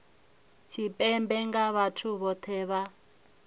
tshipembe nga vhathu vhohe vha